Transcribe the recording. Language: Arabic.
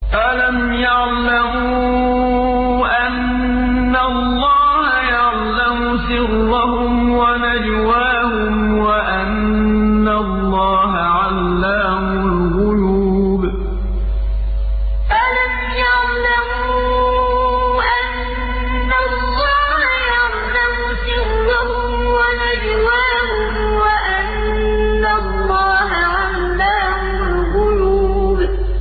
أَلَمْ يَعْلَمُوا أَنَّ اللَّهَ يَعْلَمُ سِرَّهُمْ وَنَجْوَاهُمْ وَأَنَّ اللَّهَ عَلَّامُ الْغُيُوبِ أَلَمْ يَعْلَمُوا أَنَّ اللَّهَ يَعْلَمُ سِرَّهُمْ وَنَجْوَاهُمْ وَأَنَّ اللَّهَ عَلَّامُ الْغُيُوبِ